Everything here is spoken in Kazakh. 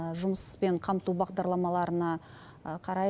жұмыспен қамту бағдарламаларына қарай